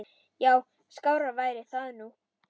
Já, skárra væri það nú.